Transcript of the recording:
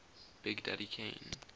big daddy kane